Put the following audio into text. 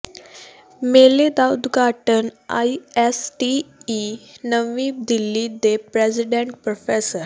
ਮੇਲੇ ਦਾ ਉਦਘਾਟਨ ਆਈਐੱਸਟੀਈ ਨਵੀਂ ਦਿੱਲੀ ਦੇ ਪ੍ਰੈਜ਼ੀਡੈਂਟ ਪ੍ਰੋ